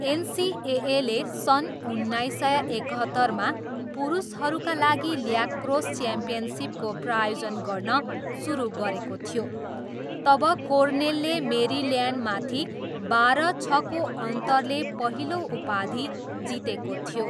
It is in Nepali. एनसिएएले सन् उन्नाइस सय एकहत्तरमा पुरुषहरूका लागि ल्याक्रोस च्याम्पियनसिपको प्रायोजन गर्न सुरु गरेको थियो, तब कोर्नेलले मेरिल्यान्डमाथि बाह्र छको अन्तरले पहिलो उपाधि जितेको थियो।